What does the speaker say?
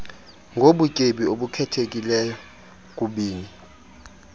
ngobutyebi obukhethekileyo kokubini